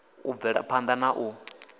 u bvela phanda na u